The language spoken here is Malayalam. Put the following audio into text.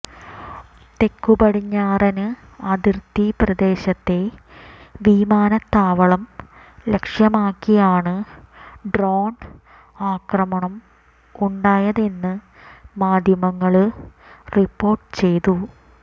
തെക്കു പടിഞ്ഞാറന് അതിര്ത്തി പ്രദേശത്തെ വിമാനത്താവളം ലക്ഷ്യമാക്കിയാണ് ഡ്രോണ് ആക്രമണം ഉണ്ടായതെന്ന് മാധ്യമങ്ങള് റിപ്പോര്ട്ട് ചെയ്തു